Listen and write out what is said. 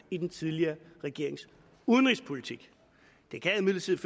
i den tidligere regerings udenrigspolitik det kan imidlertid